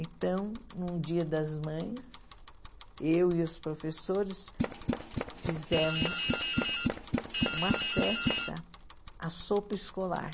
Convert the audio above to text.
Então, num dia das mães, eu e os professores fizemos uma festa à sopa escolar.